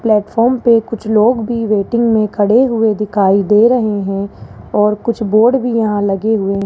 platform पे कुछ लोग भी वेटिंग मे खड़े हुए दिखाई दे रहे है और कुछ बोर्ड यहां लगे हुए --